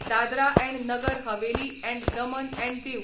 Dadra and Nagar Haveli and Daman and दिऊ